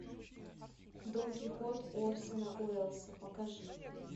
дон кихот орсона уэллса покажи